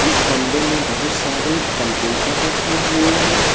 इस कमरे में बहुत सारे कंप्यूटर रखे हुए हैं।